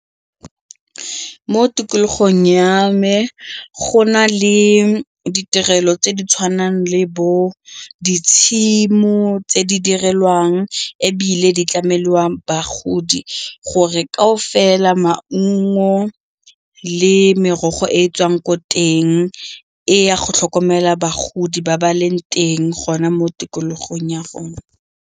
Mo tikologong ya me go na le ditirelo tse di tshwanang le bo ditshimo tse di direlwang ebile di tlamelwang ba bagodi gore kaofela maungo le merogo e e tswang ko teng e ya go tlhokomela bagodi ba ba leng teng gona mo tikologong ya rona.